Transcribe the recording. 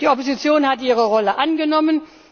Die Opposition hat ihre Rolle angenommen.